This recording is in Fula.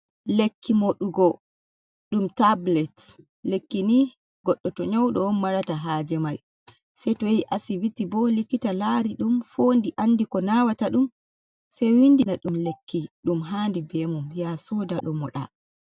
Lekki moɗugo ɗum tablet, lekki ni goɗɗo to nyaudo on marata haje mai sei to yahi asibiti bo likkita lari ɗum fondi andi ko nawata ɗum se windina ɗum lekki ɗum handi be mum ya soda ɗo mo ɗa.